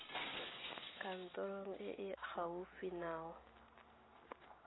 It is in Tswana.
kantorong e e gaufi nao